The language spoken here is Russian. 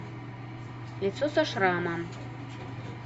лицо со шрамом